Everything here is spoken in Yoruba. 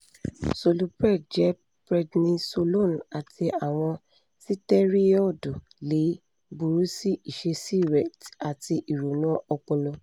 solupred jẹ prednisolone ati awọn sitẹriọdu le buru si iṣesi rẹ ati ironu ọpọlọ